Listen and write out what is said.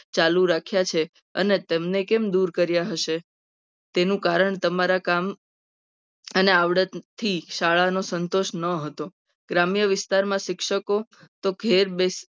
ચાલુ રાખ્યા છે. અને તેમને કેમ દૂર કર્યા હશે. તો એનું કારણ તમારા કામ અને આવડત થી જ શાળાનું સંતોષ ન હતો. ગ્રામ્ય વિસ્તારમાં શિક્ષકો તો ઘેર બેસીને